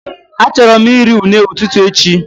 I would love to have plantain as my breakfast tomorrow